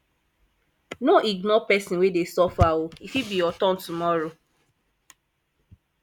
no ignore pesin wey dey suffer o e fit be your turn tomorrow